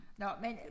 Nåh men